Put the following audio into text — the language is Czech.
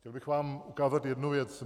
Chtěl bych vám ukázat jednu věc.